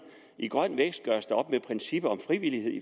i grøn vækst gøres der op med princippet om frivillighed i